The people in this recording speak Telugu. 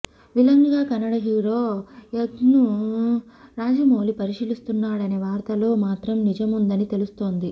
విలన్ గా కన్నడ హీరో యష్ను రాజమౌళి పరిశీలిస్తున్నాడనే వార్తలో మాత్రం నిజముందని తెలుస్తోంది